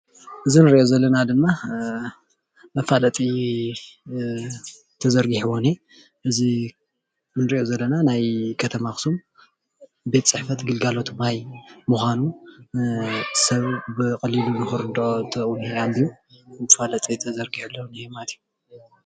እዚ እንሪኦ ዘለና ድማ መፋለጢ ተዘርግሒዎ እነአ እዚ እንሪኦ ዘለና ናይ ከተማ ኣክሱም ቤት ፅሕፈት ግልጋሎት ማይ ምኳኑ ሰብ ብቀሊሉ ንክርደኦ መፋለጢ ተዘርጊሑ ኣሎ ማለት እዩ፡፡